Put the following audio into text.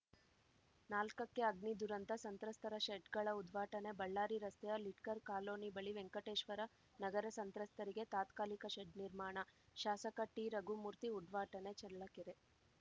ನಾಲ್ಕಕ್ಕೆಅಗ್ನಿ ದುರಂತ ಸಂತ್ರಸ್ತರ ಶೆಡ್‌ಗಳ ಉದ್ಘಾಟನೆ ಬಳ್ಳಾರಿ ರಸ್ತೆಯ ಲಿಡ್ಕರ್ ಕಾಲೋನಿ ಬಳಿ ವೆಂಕಟೇಶ್ವರ ನಗರ ಸಂತ್ರಸ್ತರಿಗೆ ತಾತ್ಕಾಲಿಕ ಶೆಡ್‌ ನಿರ್ಮಾಣ ಶಾಸಕ ಟಿರಘುಮೂರ್ತಿ ಉದ್ಘಾಟನೆ ಚಳ್ಳಕೆರೆ